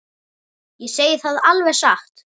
Ég segi það alveg satt.